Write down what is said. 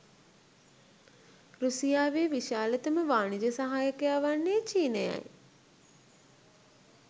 රුසියාවේ විශාලතම වාණිජ සහයකයා වන්නේ චීනයයි.